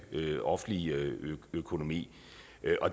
offentlige økonomi